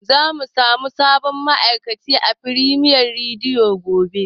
Zamu samu sabon ma'aikaci a Firemiya rediyo gobe.